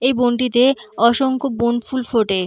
এই বনটিতে অসংখ্য বনফুল ফোটে ।